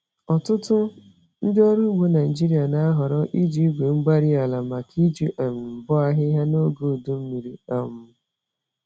Ọtụtụ ndị ọrụ ugbo Naijiria na-ahọrọ iji igwe-mgbárí-ala màkà iji um bọọ ahịhịa n'oge udu mmiri um